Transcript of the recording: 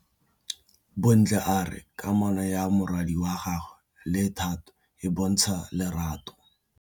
Bontle a re kamanô ya morwadi wa gagwe le Thato e bontsha lerato.